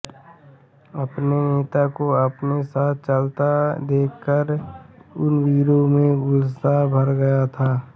अपने नेता को अपने साथ चलता देखकर उन वीरों में उल्लास भर गया था